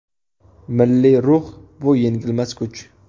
Milliy ruh bu yengilmas kuch.